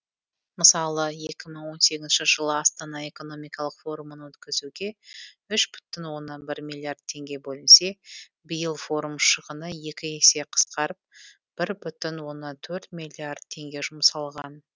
мысалы екі мың он сегізінші жылы астана экономикалық форумын өткізуге үш бүтін оннан бір миллиард теңге бөлінсе биыл форум шығыны екі есе қысқарып бір бүтін оннан төрт миллиард теңге жұмсалған